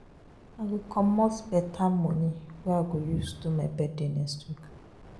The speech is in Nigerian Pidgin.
I go comot beta moni wey I go use do my birthday next week.